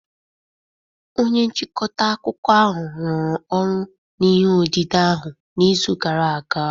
Onye nchịkọta akụkọ ahụ rụrụ ọrụ n'ihe odide ahụ n'izu gara aga